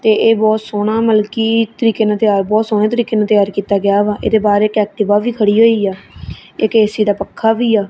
ਤੇ ਇਹ ਬਹੁਤ ਸੋਹਣਾ ਮਤਲਬ ਕੀ ਤੁਸੀਂ ਕਿਵੇਂ ਤਿਆਰ ਬਹੁਤ ਸੋਹਣੇ ਤਰੀਕੇ ਨਾਲ ਤਿਆਰ ਕਿੱਤਾ ਗਿਆ ਵਾ ਇਹਦੇ ਬਾਹਰ ਇੱਕ ਐਕਟਿਵਾ ਵੀ ਖੜੀ ਹੋਈ ਆ ਇੱਕ ਏ_ਸੀ ਤੇ ਪੱਖਾ ਵੀ ਆ।